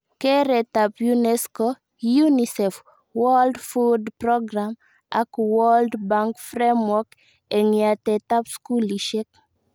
Keretab UNESCO, UNICEF, World Food Programme ak World Bank Framework eng yatetab skulishek